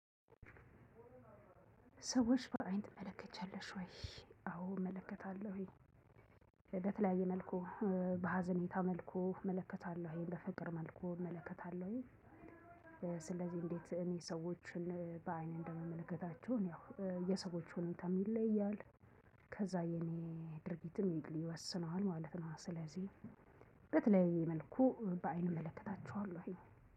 ሰዎች በአይን ትመለከቻለሽ ወይ? አዎ እመለከታለሁኝ በተለያየ መልኩ በሀዘኔታ መልኩ እመለከታለሁ ይሄን በፍቅር መልኩ እመለከታለሁ። እንዴት እኔ ሰዎችን በአይን እንደምመለከታቸው ያው የሰዎች ሁኔታም ይለያል። ከዛ የኔ ድርጊትም ይወስነዋል ማለት ነው። ስለዚህ በተለያየ መልኩ በአይን እመለከታቸዋለሁ